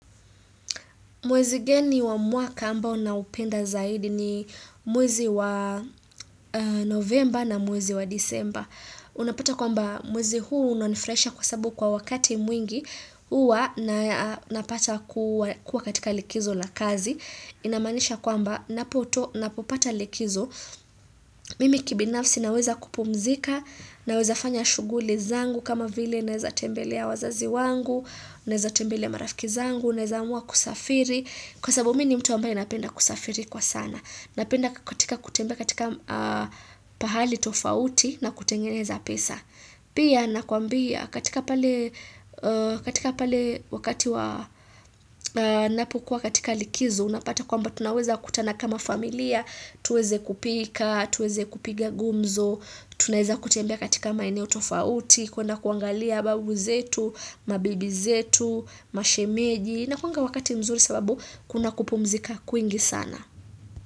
Mwezi gani wa mwaka ambao unaupenda zaidi ni mwezi wa novemba na mwezi wa disemba. Unapata kwamba mwezi huu unanifurahisha kwa sababu kwa wakati mwingi huwa na napata kuwa katika likizo la kazi. Inamaanisha kwamba ninapopata likizo. Mimi kibinafsi naweza kupumzika naweza fanya shughuli zangu kama vile naweza tembelea wazazi wangu, naweza tembele marafiki zangu, unaweza kuamua kusafiri kwa sababu mimi ni mtu ambaye napenda kusafiri kwa sana napenda kutembea katika pahali tofauti na kutengeneza pesa pia nakuambia katika pale wakati wa napokuwa katika likizo unapata kwamba tunaweza kutana kama familia tuweze kupika, tuweze kupiga gumzo tunaweza kutembea katika maeneo tofauti kwenda kuangalia babu zetu, mabibi zetu, mashemeji inakuwanga wakati mzuri sababu kuna kupumzika kwingi sana.